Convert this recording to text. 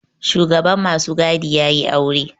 Shugaban masu gadi ya yi aure